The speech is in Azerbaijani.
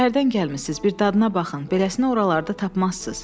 Şəhərdən gəlmisiniz, bir dadına baxın, beləsini oralarda tapmazsız.